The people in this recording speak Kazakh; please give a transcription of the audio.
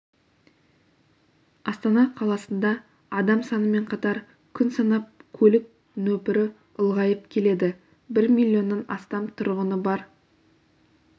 астана қаласында адам санымен қатар күн санап көлік нөпірі ұлғайып келеді бір миллионнан астам тұрғыны бар